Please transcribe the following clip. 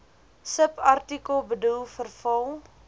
subartikel bedoel verval